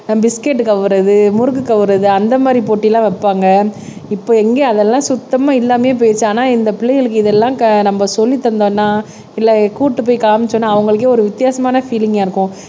ஆஹ் biscuit கவ்வறது முறுக்கு கவ்வறது அந்த மாதிரி போட்டியெல்லாம் வைப்பாங்க இப்ப எங்கயும் அதெல்லாம் சுத்தமா இல்லாமயே போயிருச்சு ஆனா இந்த பிள்ளைங்களுக்கு இதெல்லாம் க நம்ம சொல்லி தந்தோம்னா இல்ல கூட்டிட்டு போய் காமிச்சோம்னா அவங்களுக்கே ஒரு வித்தியாசமான பீலிங்கா இருக்கும்